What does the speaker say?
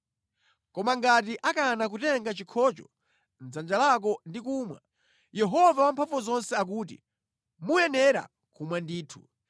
Koma ngati akana kutenga chikhocho mʼdzanja lako ndi kumwa, uwawuze kuti, ‘Yehova Wamphamvuzonse akuti: Muyenera kumwa ndithu!’ ”